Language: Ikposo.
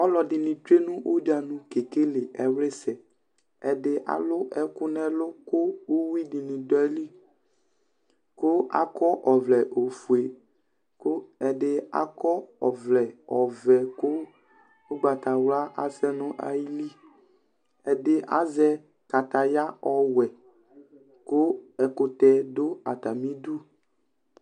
Alʊ ɛdɩnɩ tsoe nʊ udianu kekele ɛwlɩsɛ Ɛdɩ alʊ ɛkʊ nʊ ɛlʊ kʊ uwi dini dʊ ayili Kʊ akɔ ɔvlɛ ofoe, kʊ ɛdɩ akɔ ɔvlɛ ɔvɛ kʊ ʊgbatawla asɛ nʊ ayili Ɛdɩ azɛ kataya ɔwɛ kʊ ɛkʊtɛ dʊ atamɩ idu